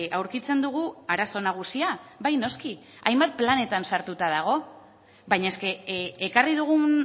aurkitzen dugu arazo nagusia bai noski hainbat planetan sartuta dago baina ekarri dugun